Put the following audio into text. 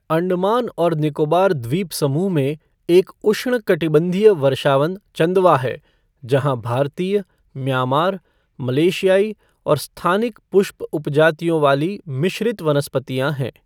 अंडमान और निकोबार द्वीप समूह में एक उष्णकटिबंधीय वर्षावन चंदवा है, जहां भारतीय, म्यांमार, मलेशियाई और स्थानिक पुष्प उपजातियों वाली मिश्रित वनस्पतियाँ हैं।